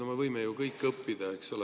No me võime ju kõik õppida, eks ole.